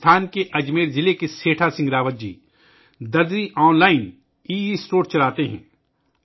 راجستھان کے اجمیر ضلع کے سیٹھا سنگھ راوت جی ' درزی آن لائن '، ای اسٹور چلاتے ہیں